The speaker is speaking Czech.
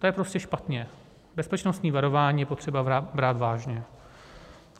To je prostě špatně, bezpečnostní varování je potřeba brát vážně.